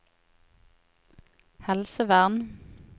helsevern